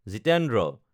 Jitendra